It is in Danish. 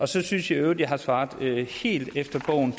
så synes jeg i øvrigt jeg har svaret helt efter bogen